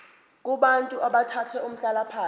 kubantu abathathe umhlalaphansi